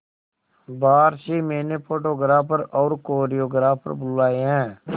बाहर से मैंने फोटोग्राफर और कोरियोग्राफर बुलाये है